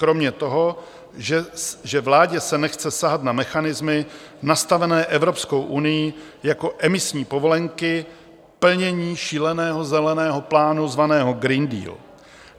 Kromě toho, že vládě se nechce sahat na mechanismy nastavené Evropskou unií jako emisní povolenky, plnění šíleného zeleného plánu zvaného Green Deal.